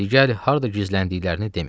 Digəri harda gizləndiklərini demir.